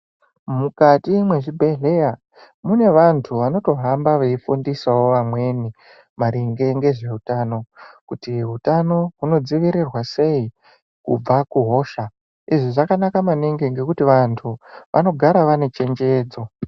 Mukati mezvibhedhlera mune antu anotohamba veifundisawo vamweni maringe nezvehutano kuti hutano unodzivirirwa sei kubva kuhosha izvi zvakanaka maningi nekuti vanhu vanogara vane chenjedzo.